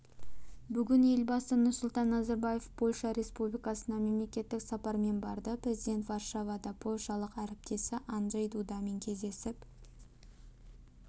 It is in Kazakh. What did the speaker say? бүгін елбасы нұрсұлтан назарбаев польша республикасына мемлекеттік сапармен барды президент варшавада польшалық әріптесі анджей дудамен кездесіп